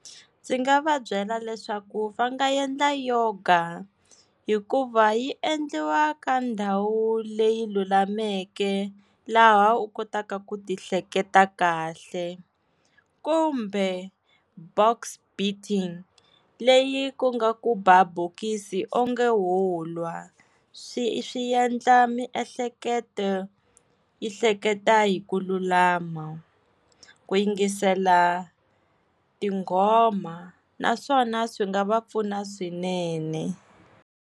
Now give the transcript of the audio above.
Ndzi nga va byela leswaku va nga endla yoga, hikuva yi endliwa ka ndhawu leyi lulameke laha u kotaka ku ti hleketa kahle. Kumbe box beating leyi ku nga ku ba bokisi wonge wo lwa swi swi endla miehleketo yi hleketa hi ku lulama. Ku yingisela tinghoma naswona swi nga va pfuna swinene.